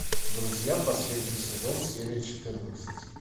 друзья последний сезон серия четырнадцать